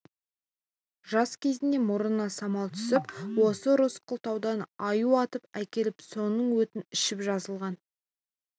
жас кезінде мұрнына самал түсіп осы рысқұл таудан аю атып әкеліп соның өтін ішіп жазылған